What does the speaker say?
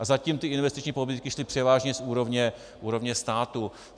A zatím ty investiční pobídky šly převážně z úrovně státu.